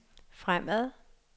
fremad